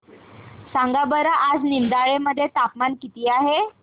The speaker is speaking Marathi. सांगा बरं आज निमडाळे मध्ये तापमान किती आहे